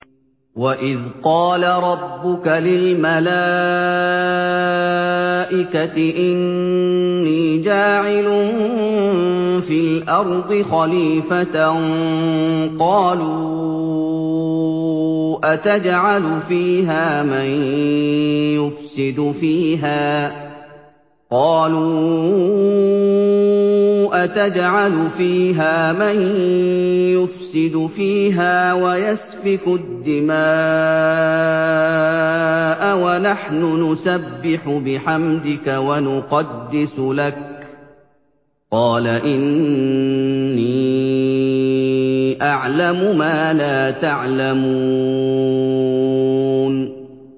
وَإِذْ قَالَ رَبُّكَ لِلْمَلَائِكَةِ إِنِّي جَاعِلٌ فِي الْأَرْضِ خَلِيفَةً ۖ قَالُوا أَتَجْعَلُ فِيهَا مَن يُفْسِدُ فِيهَا وَيَسْفِكُ الدِّمَاءَ وَنَحْنُ نُسَبِّحُ بِحَمْدِكَ وَنُقَدِّسُ لَكَ ۖ قَالَ إِنِّي أَعْلَمُ مَا لَا تَعْلَمُونَ